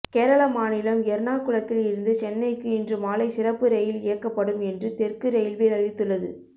கேரள மாநிலம் எர்ணாகுளத்தில் இருந்து சென்னைக்கு இன்று மாலை சிறப்பு ரயில் இயக்கப்படும் என்று தெற்கு ரயில்வே அறிவித்துள்ளது